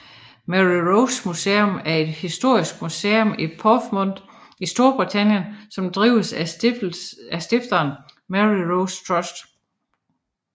Mary Rose Museum er et historisk museum i Portsmouth i Storbritannien som drives af stiftelsen Mary Rose Trust